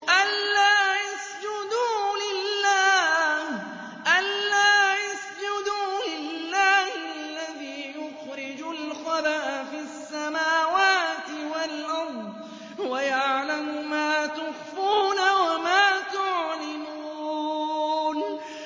أَلَّا يَسْجُدُوا لِلَّهِ الَّذِي يُخْرِجُ الْخَبْءَ فِي السَّمَاوَاتِ وَالْأَرْضِ وَيَعْلَمُ مَا تُخْفُونَ وَمَا تُعْلِنُونَ